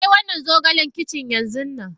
Kai wannan zogalen kicin yanzunnan.!